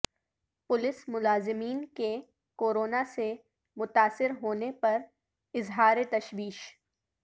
police ملازمین کے corona سے متاثر ہونے پر اظہار تشویش